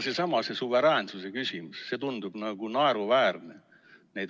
Seesama suveräänsuse küsimus tundub naeruväärne.